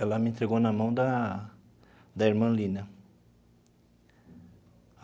Ela me entregou na mão da da irmã Lina.